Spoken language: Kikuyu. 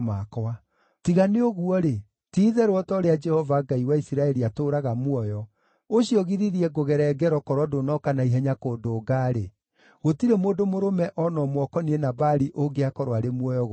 Tiga nĩ ũguo-rĩ, ti-itherũ o ta ũrĩa Jehova, Ngai wa Isiraeli, atũũraga muoyo, ũcio ũgiririe ngũgere ngero, korwo ndũnooka na ihenya kũndũnga-rĩ, gũtirĩ mũndũ mũrũme o na ũmwe ũkoniĩ Nabali ũngĩakorwo arĩ muoyo gũgĩkĩa.”